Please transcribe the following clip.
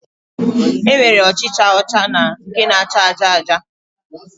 E nwere ọchịcha ọcha na nke na-acha aja aja